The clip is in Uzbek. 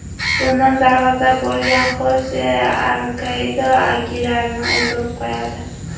Bundan darg‘azab bo‘lgan Xose Arkadio Agilarni o‘ldirib qo‘yadi.